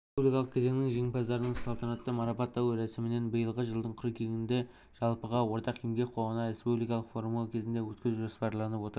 республикалық кезеңнің жеңімпаздарын салтанатты марапаттау рәсімін биылғы жылдың қыркүйегінде жалпыға ортақ еңбек қоғамына республикалық форумы кезінде өткізу жоспарланып отыр